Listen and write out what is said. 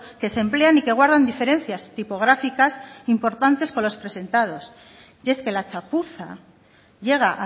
que se emplean y que guardan diferencias tipográficas importantes con los presentados y es que la chapuza llega